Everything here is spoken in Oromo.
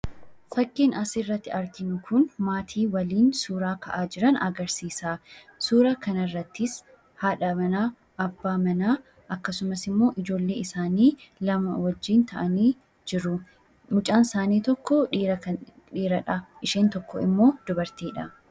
Fakkiin asirratti arginu kun maatii waliin suuraa ka'aa jiran agarsiisa. Suuraa kanarrattis haadha manaa, abbaa manaa, akkasumasimmoo ijoollee isaanii lama wajjin ta'anii jiru. Mucaan isaanii tokko dhiiradha. Isheen tokko immoo dubartiidha.